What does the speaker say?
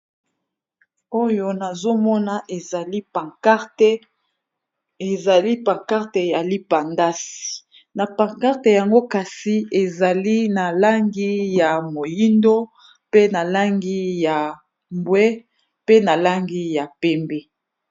Oyo nazomona ezali pancarte ya lipandasi na pancarte yango kasi ezali na langi ya moyindo, mpe na langi ya mbwe pe na langi ya pembe.